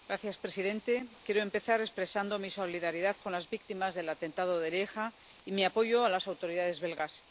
Señor presidente, quiero empezar expresando mi solidaridad con las víctimas del atentado de Lieja y mi apoyo a las autoridades belgas.